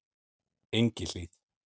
Engihlíð